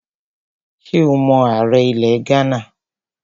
Ṣé o mọ ààrẹ ilẹ̀ Ghánà?